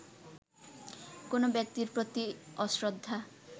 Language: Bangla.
কোনো ব্যক্তির প্রতি অশ্রদ্ধা